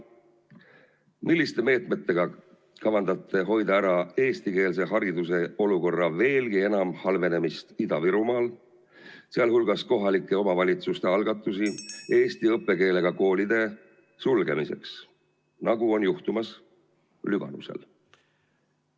Milliste meetmetega kavandate hoida ära eestikeelse hariduse olukorra veelgi enam halvenemise Ida-Virumaal, sealhulgas kohalike omavalitsuste algatusi eesti õppekeelega koolide sulgemiseks, nagu on juhtumas Lüganusel?